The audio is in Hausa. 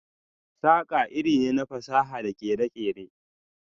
saƙa iri ne na fasaha da kere-kere.